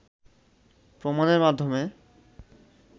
প্রমাণের মাধ্যমে